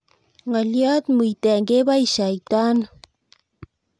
Ng'olyot muiten kebaishaitano